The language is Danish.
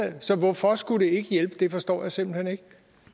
så hvorfor skulle det ikke hjælpe det forstår jeg simpelt hen ikke